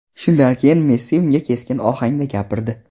Shundan keyin Messi unga keskin ohangda gapirdi.